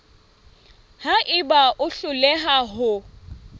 ha eba o hloleha ho